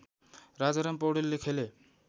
राजाराम पौडेलले खेले